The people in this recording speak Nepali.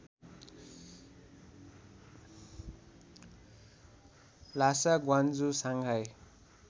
Lhasa Guangzhou Shanghai